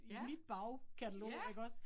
Ja. Ja